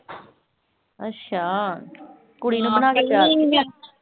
ਅੱਛਾ ਕੁੜੀ ਨੂੰ ਬਣਾ ਕੇ